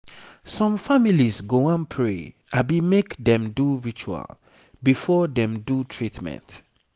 some families go wan pray abi make dem do ritual before dem do treatment.